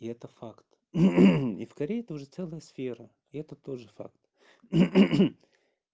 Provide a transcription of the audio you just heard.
и это факт и в корее это уже целый сфера и это тоже факт